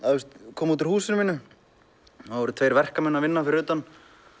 koma út úr húsinu mínu það voru tveir verkamenn að vinna fyrir utan